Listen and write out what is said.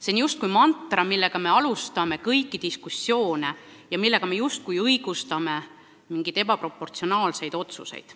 See on justkui mantra, millega me alustame kõiki diskussioone ja millega me õigustame mingeid ebaproportsionaalseid otsuseid.